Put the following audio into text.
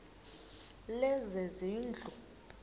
lezezindlu